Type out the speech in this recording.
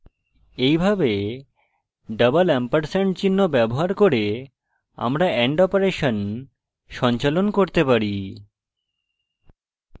এইভাবে double ampersand চিহ্ন ব্যবহার করে আমরা and অপারেশন সঞ্চালন করতে পারি